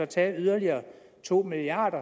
tage yderligere to milliard